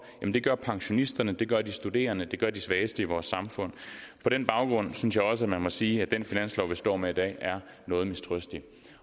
det gør pensionisterne det gør de studerende det gør de svageste i vores samfund på den baggrund synes jeg også man må sige at den finanslov vi står med i dag er noget mistrøstig